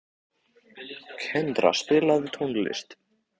Kendra, spilaðu tónlist.